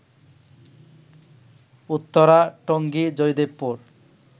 Uttara, Tongi, Joydebpur